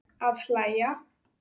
Að hlæja.